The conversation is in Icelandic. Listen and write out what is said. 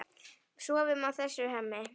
Sofum á þessu, Hemmi.